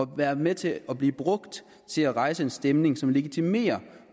være med til og blive brugt til at rejse en stemning som legitimerer